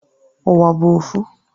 Uwa bu ofu